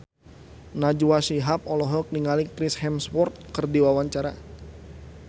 Najwa Shihab olohok ningali Chris Hemsworth keur diwawancara